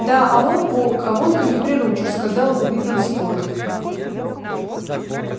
да а он волк а волка не приручишь сказал уидон скотт